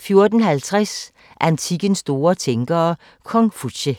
14:50: Antikkens store tænkere – Konfutse